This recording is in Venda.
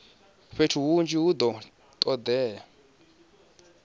fhethu hunzhi hu do todea